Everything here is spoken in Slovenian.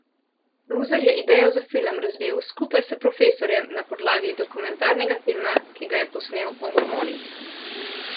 Luzar je idejo za film razvil skupaj s profesorjem na podlagi dokumentarnega filma, ki ga je posnel o mormonih.